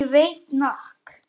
Ég veit nokk.